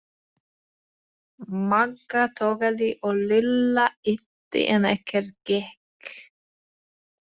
Magga togaði og Lilla ýtti en ekkert gekk.